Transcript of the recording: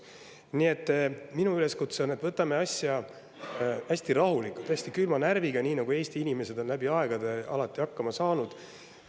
Nii et minu üleskutse on, et võtame asja hästi rahulikult, hästi külma närviga, nii nagu Eesti inimesed on läbi aegade alati hakkama saanud.